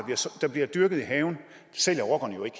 der bliver dyrket i haven så sælger rockerne jo ikke